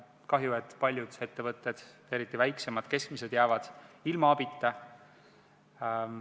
Kahju, et paljud ettevõtted, eriti väiksemad ja keskmised, jäävad ilma abita.